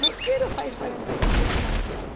Não quero, faz quarenta e três anos que estamos